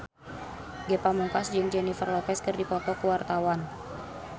Ge Pamungkas jeung Jennifer Lopez keur dipoto ku wartawan